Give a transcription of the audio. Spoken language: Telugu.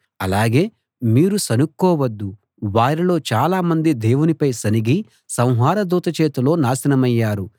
అలాగే మీరు సణుక్కోవద్దు వారిలో చాలామంది దేవునిపై సణిగి సంహార దూత చేతిలో నాశనమయ్యారు